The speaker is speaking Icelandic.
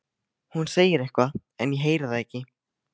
Hún segir eitthvað en ég heyri það ekki.